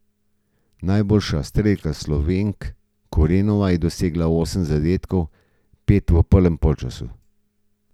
Najboljša strelka Slovenk Korenova je dosegla osem zadetkov, pet v prvem polčasu.